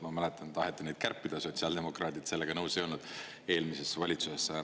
Ma mäletan, et taheti neid kärpida, sotsiaaldemokraadid sellega nõus ei olnud eelmises valitsuses.